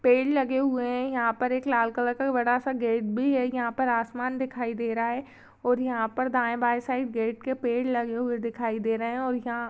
पेड़ लगे हुए है यहाँ पर एक लाल कलर का बड़ा सा गेट भी है यहाँ पर आसमान दिखाई दे रहा है और यहाँ पर दाये-बाये साइड गेट के पेड़ लगे हुए दिखाई दे रहे है और यहाँ--